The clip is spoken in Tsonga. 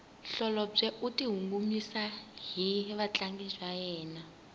holobye u tinyungubyisa hi vatlangi va yena